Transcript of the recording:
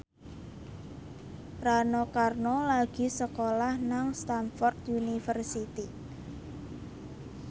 Rano Karno lagi sekolah nang Stamford University